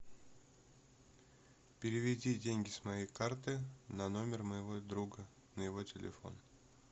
переведи деньги с моей карты на номер моего друга на его телефон